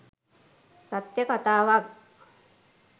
සත්‍ය කතාවක්.